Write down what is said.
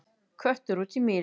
Köttur út í mýri